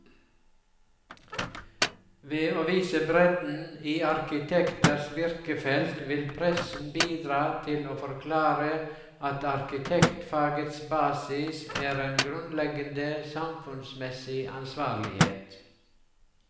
Ved å vise bredden i arkitekters virkefelt vil pressen bidra til å forklare at arkitektfagets basis er en grunnleggende samfunnsmessig ansvarlighet.